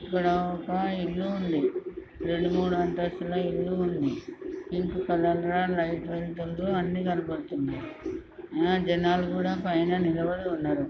ఇక్కడ ఒక ఇల్లు ఉంది రెండు మూడు అంతస్థుల ఇల్లు ఉంది ఇంటి కలర్ లైట్ వెలుతురులో అన్ని కనబడుతుంది ఆ జనాలు కూడా పైన నిలబడి ఉన్నారు.